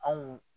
Anw